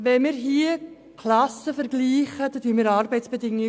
Wenn wir Klassen vergleichen, vergleichen wir Arbeitsbedingungen.